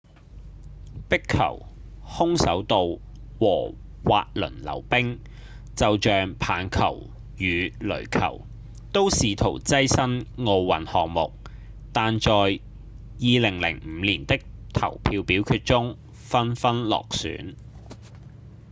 壁球、空手道和滑輪溜冰就像棒球與壘球都試圖躋身奧運項目但在2005年的投票表決中紛紛落選